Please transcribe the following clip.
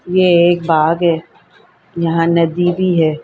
ये एक बाघ है यहाँ एक नदी भी है ।